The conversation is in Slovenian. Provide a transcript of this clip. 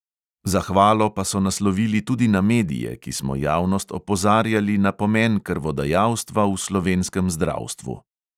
Zahvalo pa so naslovili tudi na medije, ki smo javnost opozarjali na pomen krvodajalstva v slovenskem zdravstvu.